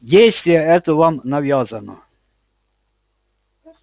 действие это вам навязано